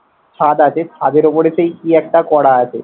ছাদ আছে, ছাদের ওপরে সেই কি একটা করা আছে